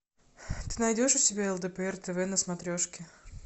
ты найдешь у себя лдпр тв на смотрешке